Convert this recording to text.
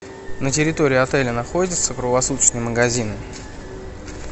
на территории отеля находятся круглосуточные магазины